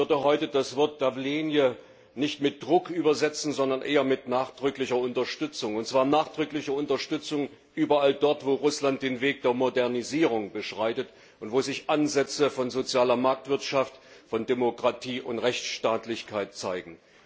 Und ich würde heute das Wort nicht mit Druck übersetzen, sondern eher mit nachdrücklicher Unterstützung, und zwar nachdrückliche Unterstützung überall dort, wo Russland den Weg der Modernisierung beschreitet und wo sich Ansätze von sozialer Marktwirtschaft, von Demokratie und Rechtsstaatlichkeit zeigen.